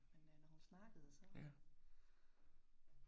Men øh når hun snakkede så